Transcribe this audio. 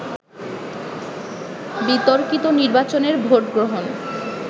বিতর্কিত নির্বাচনের ভোট গ্রহণ